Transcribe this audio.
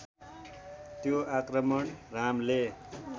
त्यो आक्रमण रामले